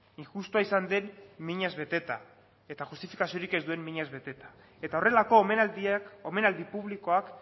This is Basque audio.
injustua izan den minaz beteta eta justifikaziorik ez duen minez beteta eta horrelako omenaldiak omenaldi publikoak